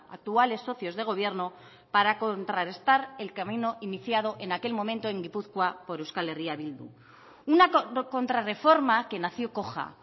actuales socios de gobierno para contra restar el camino iniciado en aquel momento en gipuzkoa por euskal herria bildu una contrarreforma que nació coja